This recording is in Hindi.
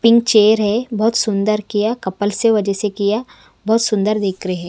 पिंक चेयर है बहोत सुंदर किया कपल से वजये किया बहोत सुंदर दिख रहे--